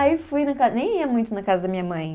Aí fui na casa, nem ia muito na casa da minha mãe.